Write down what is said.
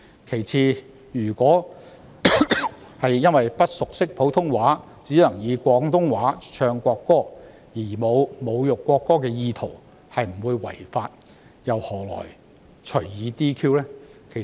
其次，如果因為不熟識普通話，只能以廣東話唱國歌而沒有侮辱國歌的意圖並不會違法，何來隨意 "DQ"？